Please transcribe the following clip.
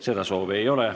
Seda soovi ei ole.